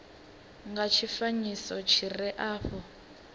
nga tshifanyiso tshi re afho